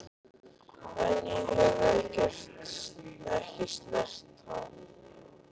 En ég hef ekki snert hann.